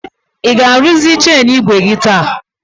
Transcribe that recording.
Ị ga-arụzị cheini igwe gi taa?